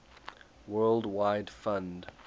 world wide fund